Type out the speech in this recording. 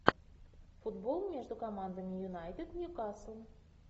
футбол между командами юнайтед ньюкасл